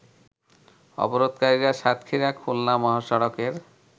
অবরোধকারীরা সাতক্ষীরা খুলনা মহাসড়কের